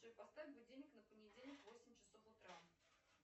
джой поставь будильник на понедельник восемь часов утра